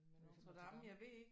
Men Notre Dame